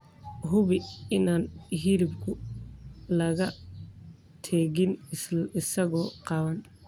Hubi inaan hilibka laga tegin isagoo qaawan.